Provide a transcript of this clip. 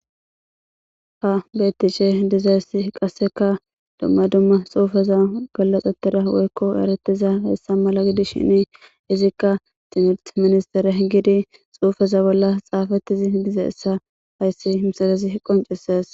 ha bettishe diza issi qasseka dumma dumma xuufaza gallaxetida woykko eretiza hessa mala gidi shini izikka timirt ministere gidi xuufaza bolla xaafattizi diza issa hayssi msarezi qonceses